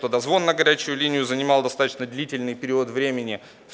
то дозвон на горячую линию занимал достаточно длительный период времени